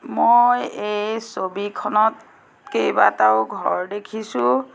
মই এই ছবিখনত কেইবাটাও ঘৰ দেখিছোঁ।